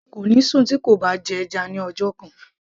kò ní sùn tí kò bá jẹ́ ẹja ní ọjọ́ kan